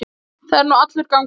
Það er nú allur gangur á því.